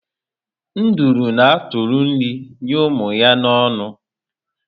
Nduru an atụri nri enye ụmụ ya na ọnụ